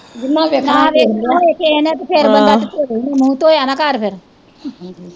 ਜਿਨ੍ਹਾਂ ਵੇਖਣਾ ਓਹਨਾ ਵੇਖ ਲਿਆ ਵੇਖਣਾ ਹੋਵੇ ਕਿਹੇ ਨੇ ਤੇ ਫਿਰ ਬੰਦਾ ਧੋਵੈ ਈ ਨਾ ਮੂੰਹ ਧੋਇਆ ਨਾ ਕਰ ਫਿਰ